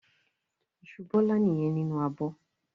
Iṣu Bọ́lá nìyẹn nínú abọ́.